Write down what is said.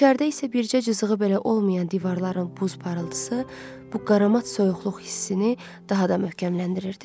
İçəridə isə bircə cızığı belə olmayan divarların buz parıltısı bu qaramat soyuqluq hissini daha da möhkəmləndirirdi.